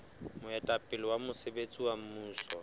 moetapele wa mosebetsi wa mmuso